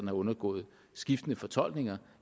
er undergået skiftende fortolkninger